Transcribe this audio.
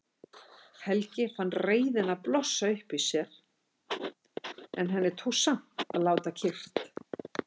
Helga fann reiðina blossa upp í sér en henni tókst samt að láta kyrrt.